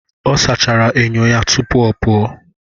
Ọ sachara enyo ya tupu ọ pụọ